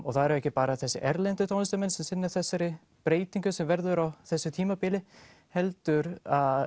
það eru ekki bara þessir erlendir tónlistarmenn sem sinna þessari breytingu sem verður á þessu tímabili heldur